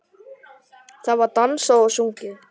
Það var dansað og sungið.